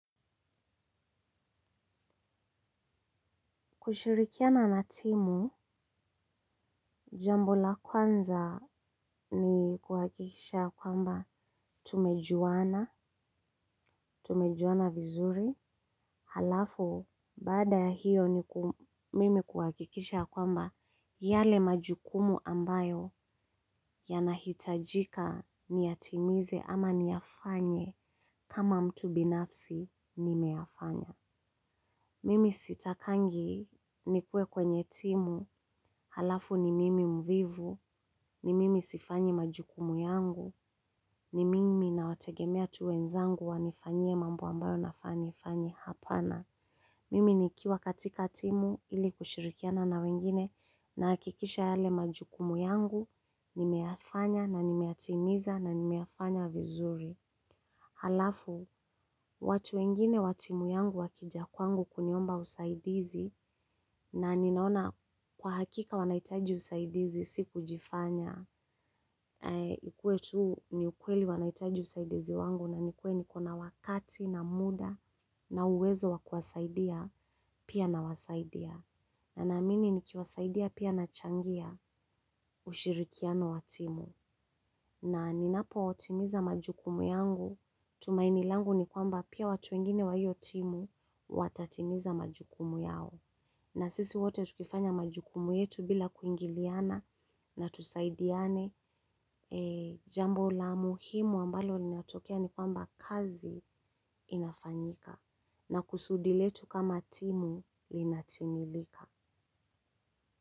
Kushirikiana na timu, jambo la kwanza ni kuhakikisha kwamba tumejuana, tumejuana vizuri, halafu baada hiyo mimi kuhakikisha kwamba yale majukumu ambayo yanahitajika niyatimize ama niyafanye kama mtu binafsi nimeyafanya. Mimi sitakangi nikuwe kwenye timu, halafu ni mimi mvivu, ni mimi sifanyi majukumu yangu, ni mimi nawategemea tu wenzangu wanifanyie mambo ambayo nafaa kufanya hapana. Mimi nikiwa katika timu ili kushirikiana na wengine na hakikisha yale majukumu yangu, nimeyafanya na nimeyatimiza na nimeyafanya vizuri. Halafu, watu wengine wa timu yangu wakija kwangu kuniomba usaidizi na ninaona kwa hakika wanahitaji usaidizi si kujifanya. Ikuwe tu ni ukweli wanahitaji usaidizi wangu na nikue ni kona wakati na muda na uwezo wa kuwasaidia pia nawasaidia. Na ninaamini nikiwasaidia pia nachangia ushirikiano wa timu. Na ninapo timiza majukumu yangu, tumaini langu ni kwamba pia watu wengine wa hiyo timu watatimiza majukumu yao. Na sisi wote tukifanya majukumu yetu bila kuingiliana na tusaidiane jambo la muhimu ambalo linatokea ni kwamba kazi inafanyika. Na kusudi letu kama timu linatimilika.